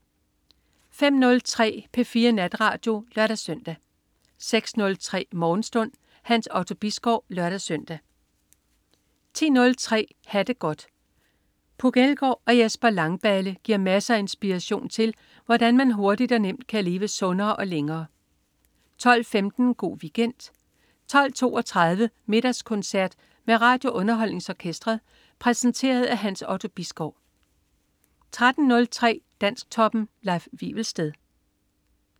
05.03 P4 Natradio (lør-søn) 06.03 Morgenstund. Hans Otto Bisgaard (lør-søn) 10.03 Ha' det godt. Puk Elgård og Jesper Langballe giver masser af inspiration til, hvordan man hurtigt og nemt kan leve sundere og længere 12.15 Go' Weekend 12.32 Middagskoncert med RadioUnderholdningsOrkestret. Præsenteret af Hans Otto Bisgaard 13.03 Dansktoppen. Leif Wivelsted